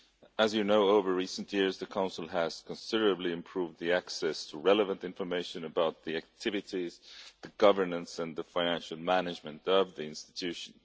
As you know, over recent years the Council has considerably improved access to relevant information about the activities, the governance and the financial management of the institution.